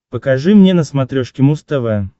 покажи мне на смотрешке муз тв